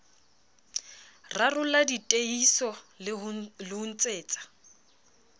rarollla diteihiso le ho ntsetsa